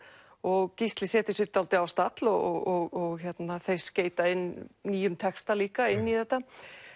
og Gísli setur sig dálítið á stall og þeir skeyta inn nýjum texta líka inn í þetta